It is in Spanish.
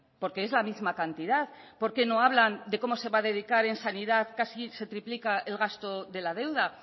porque es la misma cantidad por qué no hablan de cómo se va a dedicar en sanidad casi se triplica el gasto de la deuda